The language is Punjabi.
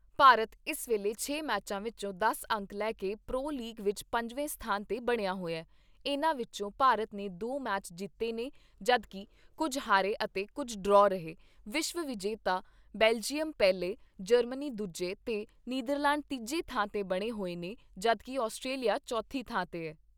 ਭਾਰਤ ਇਸ ਵੇਲੇ ਛੇ ਮੈਚਾਂ ਵਿਚੋਂ ਦਸ ਅੰਕ ਲੈ ਕੇ ਪ੍ਰੋ ਲੀਗ ਵਿਚ ਪੰਜਵੇਂ ਸਥਾਨ 'ਤੇ ਬਣਿਆ ਹੋਇਆ, ਇਨ੍ਹਾਂ ਵਿਚੋਂ ਭਾਰਤ ਨੇ ਦੋ ਮੈਚ ਜਿੱਤੇ ਨੇ ਜਦੋਂ ਕਿ ਕੁੱਝ ਹਾਰੇ ਅਤੇ ਕੁੱਝ ਡਰਾਅ ਰਹੇ ਵਿਸ਼ਵ ਵਿਜੇਤਾ ਬੇਲਜ਼ਿਅਮ ਪਹਿਲੇ ਜਰਮਨੀ ਦੂਜੇ ਤੇ ਨਿੰਦਰਲੈਡ ਤੀਜੀ ਥਾਂ 'ਤੇ ਬਣੇ ਹੋਏ ਨੇ, ਜਦੋਂ ਕਿ ਅਸਟਰੇਲੀਆ ਚੌਥੀ ਥਾਂ 'ਤੇ ਐ।